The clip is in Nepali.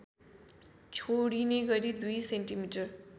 छोडिने गरी २ सेन्टिमिटर